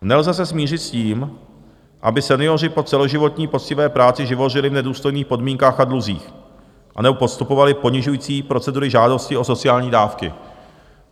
Nelze se smířit s tím, aby senioři po celoživotní poctivé práci živořili v nedůstojných podmínkách a dluzích anebo podstupovali ponižující procedury žádosti o sociální dávky.